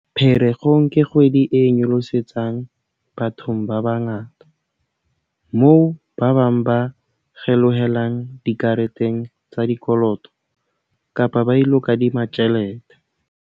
"Pherekgong ke kgwedi e nyolosetsang bathong ba bangata, moo ba bang ba kgelohelang dikareteng tsa dikoloto kapa ba ilo kadima tjhelete."